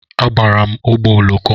Agbara m ụgbọ oloko.